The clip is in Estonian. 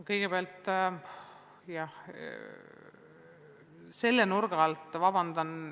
Kõigepealt, jah, selle nurga alt – vabandust!